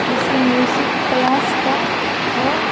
किसी music class का है।